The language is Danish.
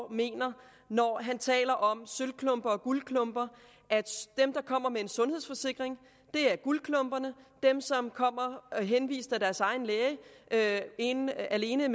mener når han taler om sølvklumper og guldklumper dem der kommer med en sundhedsforsikring er guldklumperne dem som er henvist af deres egen læge alene alene